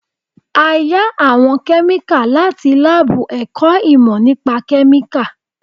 A yá àwọn kẹ́míkà láti lábù ẹ̀kọ́ ìmọ́ nípa kẹ́míkà